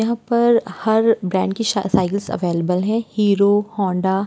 यहाँ पर हर ब्रेंड की सा-साइकिल्स आवेलिबल हैं हीरो होंडा --